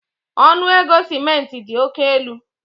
Ọnụ ego simenti dị oke elu